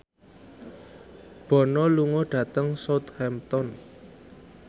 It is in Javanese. Bono lunga dhateng Southampton